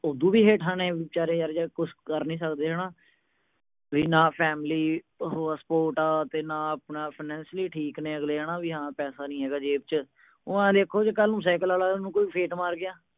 ਔਦੂ ਵੀ ਹੇਠਾਂ ਨੇ, ਜਿਹੜੇ ਕੁਛ ਕਰ ਨੀ ਸਕਦੇ। ਨਾ family support ਆ, ਨਾ financially ਠੀਕ ਨੇ ਅਗਲੇ। ਪੈਸਾ ਨੀ ਹੈਗਾ ਜੇਬ ਚ, ਓ ਆਏ ਦੇਖੋ, ਜੇ ਸਾਈਕਲ ਆਲਾ ਕੋਈ ਉਹਨੂੰ ਫੇਟ ਮਾਰ ਗਿਆ।